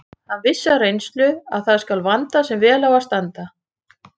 Hann vissi af reynslu að það skal vanda sem vel á að standa.